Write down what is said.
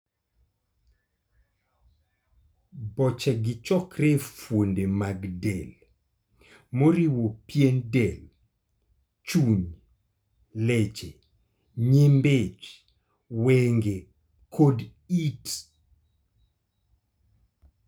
Boche gi chokore e fuonde mag del, moriwo pien del, chuny, leche, nyimbi ich, wenge, kod it.